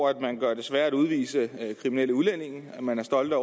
at man gør det sværere at udvise kriminelle udlændinge at man er stolt af